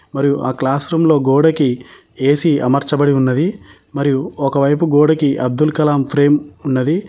మరియు ఆ classroom లో గోడకి ఏ_సీ అమర్చబడి ఉన్నది మరియు ఒకవైపు గోడకి అబ్దుల్ కలాం ఫ్రేమ్ ఉన్నది.